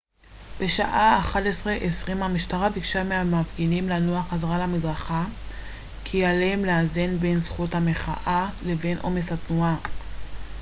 בשעה 11:20 המשטרה ביקשה מהמפגינים לנוע חזרה למדרכה בטענה כי עליהם לאזן בין זכות המחאה לבין עומס התנועה